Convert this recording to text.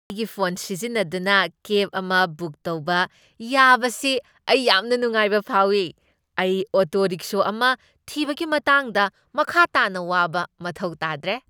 ꯑꯩꯒꯤ ꯐꯣꯟ ꯁꯤꯖꯤꯟꯅꯗꯨꯅ ꯀꯦꯕ ꯑꯃ ꯕꯨꯛ ꯇꯧꯕ ꯌꯥꯕꯁꯤ ꯑꯩ ꯌꯥꯝꯅ ꯅꯨꯡꯉꯥꯏꯕ ꯐꯥꯎꯏ꯫ ꯑꯩ ꯑꯣꯇꯣ ꯔꯤꯛꯁꯣ ꯑꯃ ꯊꯤꯕꯒꯤ ꯃꯇꯥꯡꯗ ꯃꯈꯥ ꯇꯥꯅ ꯋꯥꯕ ꯃꯊꯧ ꯇꯥꯗ꯭ꯔꯦ꯫